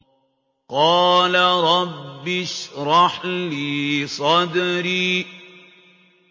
قَالَ رَبِّ اشْرَحْ لِي صَدْرِي